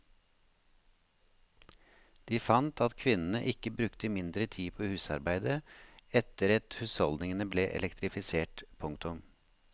De fant at kvinnene ikke brukte mindre tid på husarbeidet etter et husholdningene ble elektrifisert. punktum